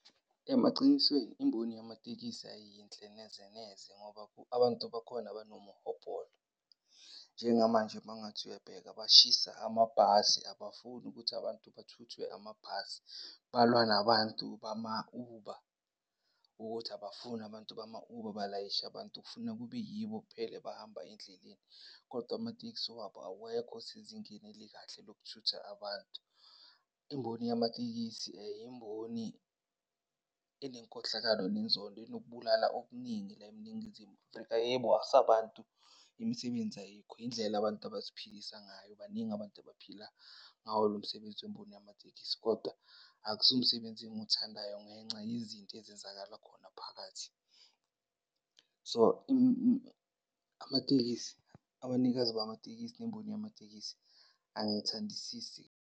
Emacinisweni imboni yamatekisi ayiyinhle neze neze ngoba abantu bakhona banomhobholo. Njengamanje mawungathi uyabheka, bashisa amabhasi abafuni ukuthi abantu bathuthwe amabhasi. Balwa nabantu bama-Uber, ukuthi abafuni abantu bama-Uber balayishe abantu kufuna kube yibo kuphela abahamba endleleni kodwa amatekisi wabo awekho sezingeni elikahle lokuthutha abantu. Imboni yamatekisi, yimboni enenkohlakalo nenzondo enokubulala okuningi la eNingizimu Afrika. Yebo, sabantu imisebenzi ayikho, yindlela abantu abaziphilisa ngayo. Baningi abantu abaphila ngawo lo msebenzi wemboni yamatekisi kodwa akusiwo umsebenzi engiwuthandayo ngenxa yezinto ezenzekala khona phakathi. So, amatekisi, abanikazi bamatekisi nemboni yamatekisi angiyithandisisi.